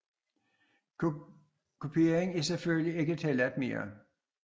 Kupering er selvfølgelig ikke tilladt mere